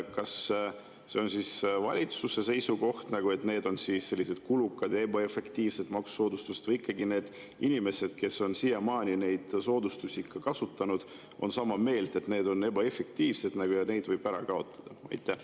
Kas see on valitsuse seisukoht, et need on sellised kulukad ja ebaefektiivsed maksusoodustused, või ikkagi need inimesed, kes on siiamaani neid soodustusi kasutanud, on sama meelt, et need on ebaefektiivsed ja need võib ära kaotada?